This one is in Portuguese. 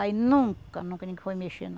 Aí nunca, nunca ninguém foi mexer, não.